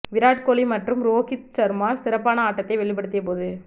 விராட் கோலி மற்றும் ரோஹித் ஷர்மா சிறப்பான ஆட்டத்தை வெளிப்படுத்திய போது